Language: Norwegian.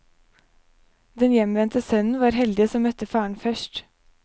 Den hjemvendte sønnen var heldig som møtte faren først.